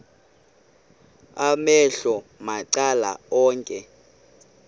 amehlo macala onke